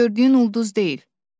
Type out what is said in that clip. O gördüyün ulduz deyil.